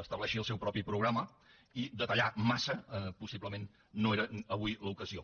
estableixi el seu propi programa i detallar massa possiblement no era avui l’ocasió